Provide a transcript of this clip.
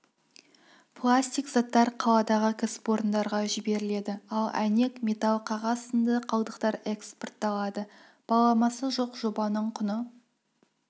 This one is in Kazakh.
пластик заттар қаладағы кәсіпорындарға жіберіледі ал әйнек металл қағаз сынды қалдықтар экспортталады баламасы жоқ жобаның құны